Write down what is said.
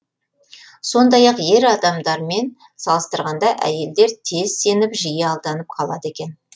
сондай ақ ер адамдармен салыстырғанда әйелдер тез сеніп жиі алданып қалады екен